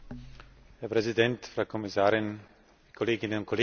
Herr Präsident, Frau Kommissarin, Kolleginnen und Kollegen!